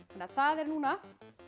það eru núna